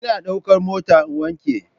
Ina daukar mota in wanke.